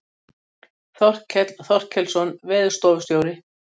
Þorkell Þorkelsson veðurstofustjóri.